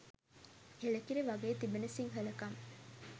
එළකිරි වගෙ තිබෙන සිංහලකම